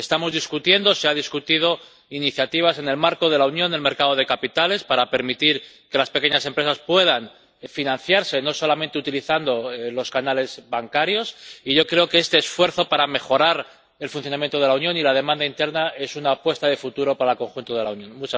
Estamos discutiendo y se han discutido iniciativas en el marco de la unión del mercado de capitales para permitir que las pequeñas empresas puedan financiarse no solamente utilizando los canales bancarios, y yo creo que este esfuerzo para mejorar el funcionamiento de la Unión y la demanda interna es una apuesta de futuro para el conjunto de la Unión.